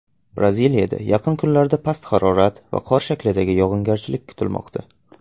Braziliyada yaqin kunlarda past harorat va qor shaklida yog‘ingarchilik kutilmoqda.